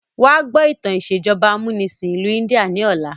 Wa gbọ́ ìtàn ìsèjọba amúnisìn ìlú India ni ọ̀la!